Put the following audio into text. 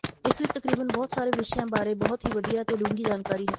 ਇਸ ਵਿਚ ਤਕਰੀਬਨ ਬਹੁਤ ਸਾਰੇ ਵਿਸ਼ਿਆਂ ਬਾਰੇ ਬਹੁਤ ਹੀ ਵਧੀਆ ਤੇ ਡੂੰਘੀ ਜਾਣਕਾਰੀ ਹੈ